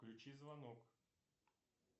включи звонок